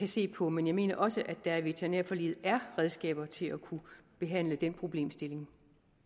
se på men jeg mener også at der i veterinærforliget er redskaber til at kunne behandle den problemstilling